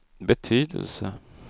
betydelse